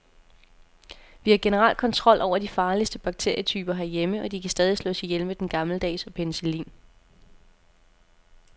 Vi har generelt kontrol over de farligste bakterietyper herhjemme, og de kan stadig slås ihjel med den gammeldags og penicillin.